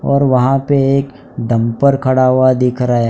और वहां पे एक डंपर खड़ा हुआ दिख रहा है।